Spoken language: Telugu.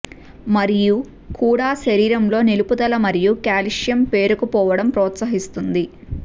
మరియు కూడా శరీరం లో నిలుపుదల మరియు కాల్షియం పేరుకుపోవడం ప్రోత్సహిస్తుంది